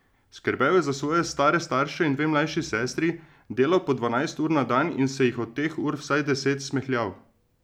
Skrbel je za svoje stare starše in dve mlajši sestri, delal po dvanajst ur na dan in se jih od teh ur vsaj deset smehljal.